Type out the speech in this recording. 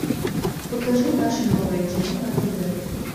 покажи наше новое кино на тв